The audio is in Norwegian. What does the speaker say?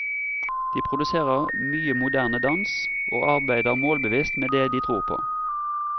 De produserer mye moderne dans, og arbeider målbevisst med det de tror på.